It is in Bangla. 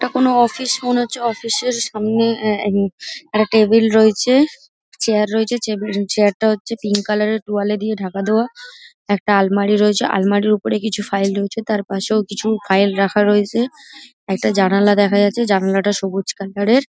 এটা কোন অফিস মনে হচ্ছে। অফিস -এর সামনে আহ একটা টেবিল রয়েছে চেয়ার রয়েছে। চেয়ার -টা হচ্ছে পিঙ্ক কালার -এর তোয়ালে দিয়ে ঢাকা দেওয়া। একটা আলমারি রয়েছে। আলমারির ওপরে কিছু ফাইল রয়েছে। তার পাশেও কিছু ফাইল রাখা রয়েছে। একটা জানালা দেখা যাচ্ছে। জানালাটা সবুজ কালার -এর |